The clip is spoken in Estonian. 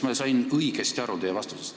Kas ma sain teie vastusest õigesti aru?